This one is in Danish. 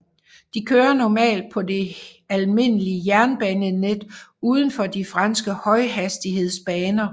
De kører normalt på det almindelige jernbanenet udenfor de franske højhastighedsbaner